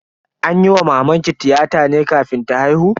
An yi wa mamanki tiyata ne kafin ta haihu?